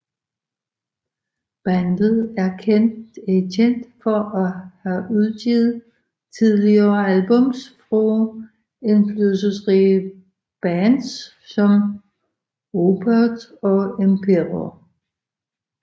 Bandet er kendt for at have udgivet tidlige albums fra indflydelsesrige bands som Opeth og Emperor